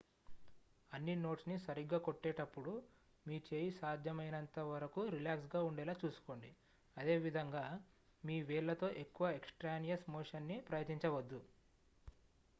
అన్ని నోట్స్ ని సరిగ్గా కొట్టేటప్పుడు మీ చేయి సాధ్యమైనంత వరకు రిలాక్స్ గా ఉండేలా చూసుకోండి అదేవిధంగా మీ వేళ్లతో ఎక్కువ ఎక్స్ ట్రానియస్ మోషన్ ని ప్రయత్నించవద్దు